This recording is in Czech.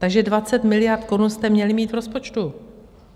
Takže 20 miliard korun jste měli mít v rozpočtu.